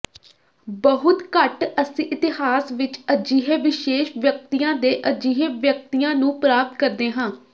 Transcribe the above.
ਬਹੁਤ ਘੱਟ ਅਸੀਂ ਇਤਿਹਾਸ ਵਿਚ ਅਜਿਹੇ ਵਿਸ਼ੇਸ਼ ਵਿਅਕਤੀਆਂ ਦੇ ਅਜਿਹੇ ਵਿਅਕਤੀਆਂ ਨੂੰ ਪ੍ਰਾਪਤ ਕਰਦੇ ਹਾਂ